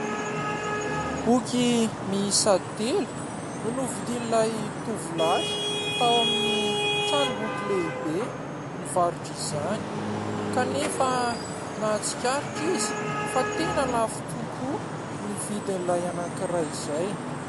Boky miisa telo no novidian'ilay tovolahy tao amin'ny tranomboky lehibe mivarotra izany kanefa nahatsikaritra izy fa tena lafo tokoa ny vidin'ilay anankiray izay.